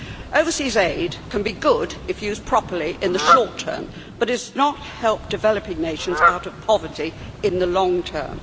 Overseas aid can be good if used properly in the short term, but it does not help developing nations out of poverty in the long term.